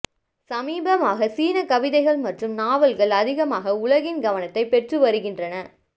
சமீபமாக சீனக் கவிதைகள் மற்றும் நாவல்கள் அதிகமாக உலகின் கவனதைப் பெற்றுவருகின்றன